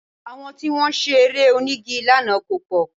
Àwọn tí wọ́n ṣe Eré onígi lánàá kò pọ̀